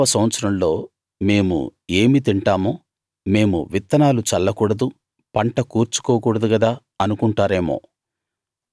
ఏడవ సంవత్సరంలో మేము ఏమి తింటాము మేము విత్తనాలు చల్లకూడదు పంట కూర్చుకోకూడదు గదా అనుకుంటారేమో